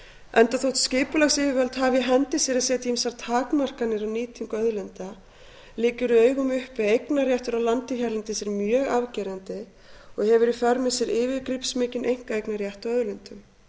enda þótt skipulagsyfirvöld hafi í hendi sér að setja ýmsar takmarkanir á nýtingu auðlinda liggur í augum uppi að eignarréttur á landi hérlendis er mjög afgerandi og hefur í för með sér yfirgripsmikinn einkaeignarrétt á auðlindum